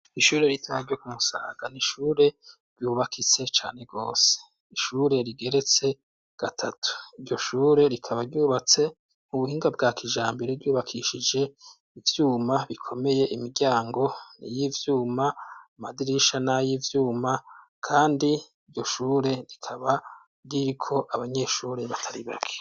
Ishure ritoya ryo ku musaga n'ishure ryubakitse cane gose, ishure rigeretse gatatu, iryo shure rikaba ryubatse mu buhinga bwa kijambere ryubakishije ivyuma bikomeye imiryango y'ivyuma, amadrisha n'ayivyuma kandi iryo shure rikaba ririko abanyeshure batari bake.